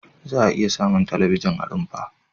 Za'a iya samun talabijin a rumfa.